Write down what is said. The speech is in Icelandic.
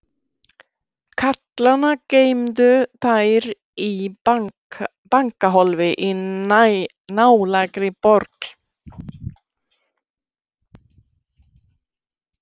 Karlana geymdu þær í bankahólfi í nálægri borg.